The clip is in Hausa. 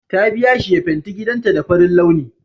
Ta biya shi ya fenti gidanta da farin launi